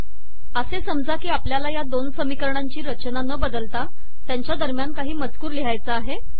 असे समजा की आपल्याला या दोन समीकरणांची रचना न बदलता त्यांच्या दरम्यान काही मजकूर लिहायचा आहे